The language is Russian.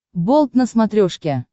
болт на смотрешке